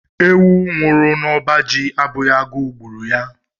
Ewu nwụrụ n'ọba ji abụghi agụ gburu ya.